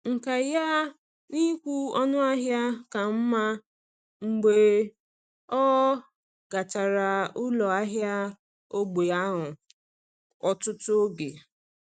Nkà ya n’ịkwụ ọnụ ahịa ka mma mgbe ọ gachara ụlọ ahịa ógbè ahụ ọtụtụ oge.